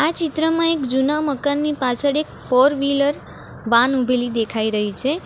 આ ચિત્રમાં એક જૂના મકાનની પાછળ એક ફોર વીલર વાન ઉભેલી દેખાઈ રહી છે.